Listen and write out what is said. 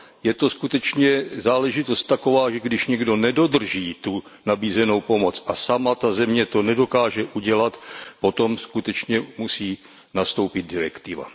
Je to skutečně záležitost taková, že když někdo nedodrží nabízenou pomoc a sama ta země to nedokáže udělat, potom skutečně musí nastoupit direktiva.